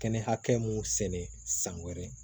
Kɛnɛ hakɛ mun sɛnɛ san wɛrɛ